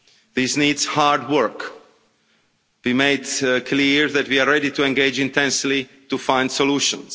This needs hard work. We have made it clear that we are ready to engage intensively to find solutions.